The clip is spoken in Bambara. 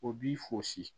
O b'i fosi